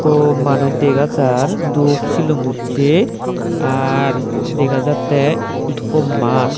ikko manuj dega jar dup silum ussey ar dega jattey ikko maat.